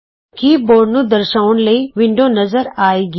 ਕੀ board ਨੂੰ ਦਰਸ਼ਾਉਣ ਲਈ ਵਿੰਡੋ ਨਜ਼ਰ ਆਏਗੀ